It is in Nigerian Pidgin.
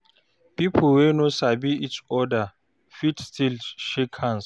Pipo wey no sabi each oda fit still shake hands